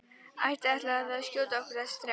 Ekki ætlið þér að skjóta okkur þessa þrjá?